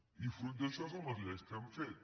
i fruit d’això són les lleis que hem fet